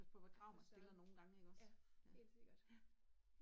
Et forstørre, ja, helt sikkert